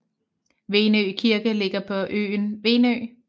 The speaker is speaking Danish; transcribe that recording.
Venø Kirke ligger på øen Venø